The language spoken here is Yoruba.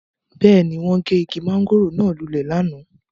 Beeni, won ge igi mangoro naa lule lana